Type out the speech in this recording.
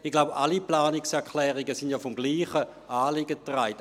Ich glaube, alle Planungserklärungen sind vom selben Anliegen getragen.